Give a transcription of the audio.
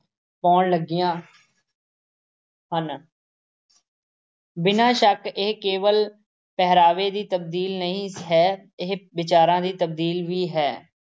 ਪਾਉਣ ਲੱਗੀਆਂ ਹਨ ਬਿਨਾਂ ਸ਼ੱਕ ਇਹ ਕੇਵਲ ਪਹਿਰਾਵੇ ਦੀ ਤਬਦੀਲੀ ਨਹੀਂ ਹੈ ਇਹ ਵਿਚਾਰਾਂ ਦੀ ਤਬਦੀਲ ਵੀ ਹੈ।